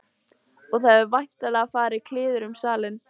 Og það hefur væntanlega farið kliður um salinn.